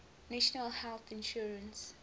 national health insurance